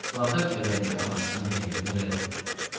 Spartak əvvəlki ağasının təklifini rədd elədi.